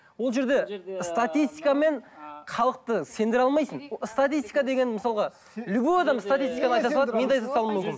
ол жерде статистикамен халықты сендіре алмайсың статистика деген мысалға любой адам статистиканы айта салады мен де айта салуым